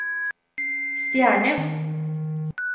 stjerne